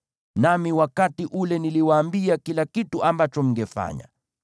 Nami wakati ule niliwaambia kila kitu ambacho mngefanya.